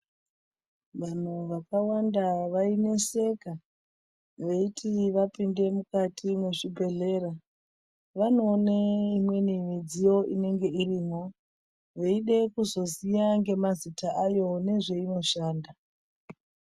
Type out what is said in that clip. Vanthu vakawanda vaineseka veiti vapinde mukati mwezvibhedhlera vanoone imweni midziyo inenge irimwo veide kuzoziya ngemazita ayo nezveinoshanda.